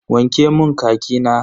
Wanke mun khaki na.